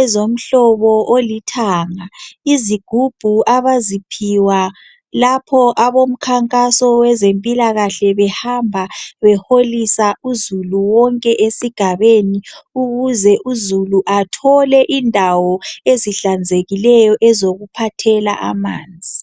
ezomhlobo olithanga. Izigubhu abaziphiwa lapho abomkhankaso wezempilakahle behamba beholisa uzulu wonke esigabeni ukuze uzulu athole indawo ezihlanzekileyo ezokuphathela amanzi.